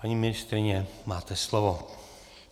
Paní ministryně, máte slovo.